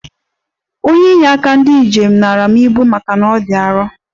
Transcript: Onye ịnye aka ndi njem nara m ibu maka na ọ dị arọ.